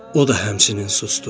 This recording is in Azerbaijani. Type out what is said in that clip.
O da həmçinin sustu.